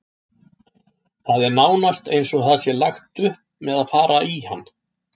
Það er nánast eins og það sé lagt upp með að fara í hann.